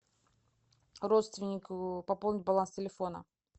родственнику пополнить баланс телефона